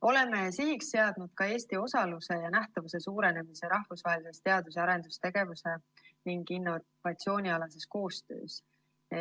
Oleme sihiks seadnud ka Eesti osaluse ja nähtavuse suurenemise rahvusvahelises koostöös teadus‑ ja arendustegevuse ning innovatsiooni alal.